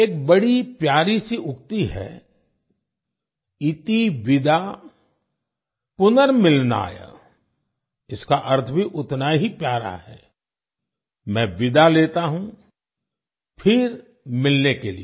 एक बड़ी प्यारी सी उक्ति है - 'इति विदा पुनर्मिलनाय' इसका अर्थ भी उतना ही प्यारा है मैं विदा लेता हूँ फिर मिलने के लिए